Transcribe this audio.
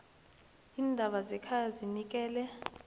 iindaba zekhaya zinikele